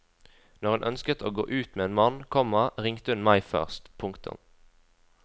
Når hun ønsket å gå ut med en mann, komma ringte hun meg først. punktum